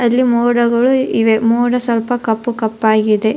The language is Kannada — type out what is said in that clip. ಅಲ್ಲಿ ಮೋಡಗಳು ಇವೆ ಮೋಡ ಸ್ವಲ್ಪ ಕಪ್ಪು ಕಪ್ಪಾಗಿದೆ.